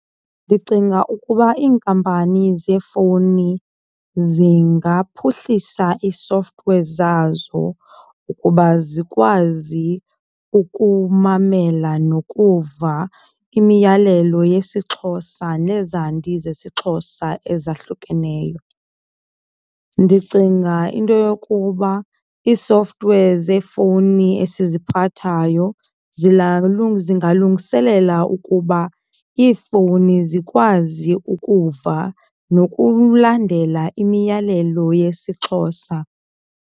Ndicinga ukuba iinkampani zeefowuni zingaphuhlisa ii-software zazo ukuba zikwazi ukumamela nokuva imiyalelo yesiXhosa nezandi zesiXhosa ezahlukeneyo. Ndicinga into yokuba ii-software zeefowuni esiziphathayo zingalungiselela ukuba iifowuni zikwazi ukuva nokulandela imiyalelo yesiXhosa.